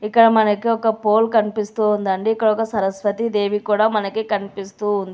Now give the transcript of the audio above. ఇక్కడ మనకి ఒక పోల్ కనిపిస్తోందండి ఇక్కడొక సరస్వతి దేవి కూడా మనకి కనిపిస్తూ ఉంది.